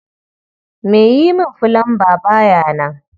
Mai yi min fulamba ba ya nan